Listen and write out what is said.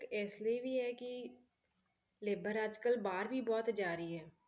ਤੇ ਇਸ ਲਈ ਵੀ ਹੈ ਕਿ labour ਅੱਜ ਕੱਲ੍ਹ ਬਾਹਰ ਵੀ ਬਹੁਤ ਜਾ ਰਹੀ ਹੈ,